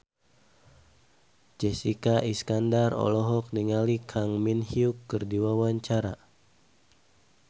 Jessica Iskandar olohok ningali Kang Min Hyuk keur diwawancara